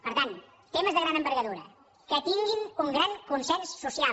per tant temes de gran envergadura que tinguin un gran consens social